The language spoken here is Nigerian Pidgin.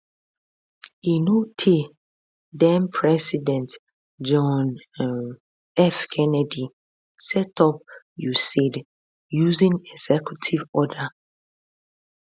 e no tey denpresident john um f kennedy set up usaid using executive order